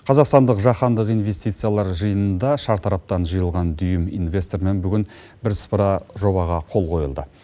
қазақстандық жаһандық инвестициялар жиынында шартараптан жиылған дүйім инвестормен бірсыпыра жобаға қол қойылды